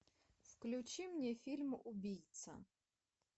включи мне фильм убийца